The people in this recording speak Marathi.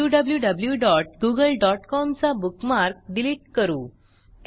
wwwgooglecom चा बुकमार्क डिलिट करू